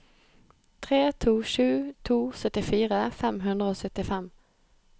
tre to sju to syttifire fem hundre og syttifem